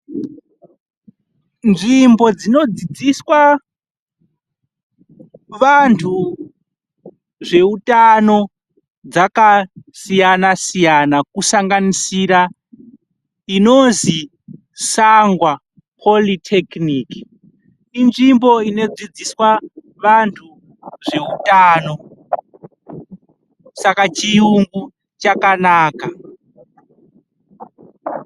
Nzvimbo dzinodzidziswa vantu zveutano dzakasiyana siyana kusanganisira inozwi Sangwa polithekiniki inzvimbo inodzidziswa vantu zveutano. Saka chiungu chakanaka.